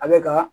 A bɛ ka